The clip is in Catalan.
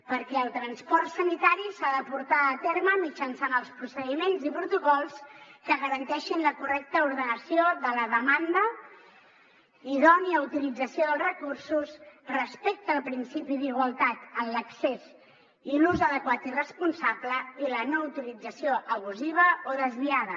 perquè el transport sanitari s’ha de portar a terme mitjançant els procediments i protocols que garanteixin la correcta ordenació de la demanda idònia utilització dels recursos respecte al principi d’igualtat en l’accés i l’ús adequat i responsable i la no utilització abusiva o desviada